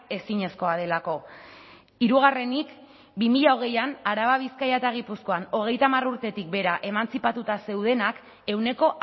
ezinezkoa delako hirugarrenik bi mila hogeian araba bizkaia eta gipuzkoan hogeita hamar urtetik behera emantzipatuta zeudenak ehuneko